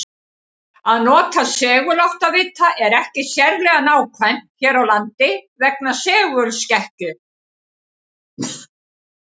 Að nota seguláttavita er ekki sérlega nákvæmt hér á landi vegna segulskekkju.